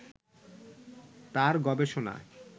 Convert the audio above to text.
তার গবেষণা